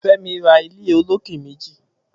Femi rà ilé ólóké méji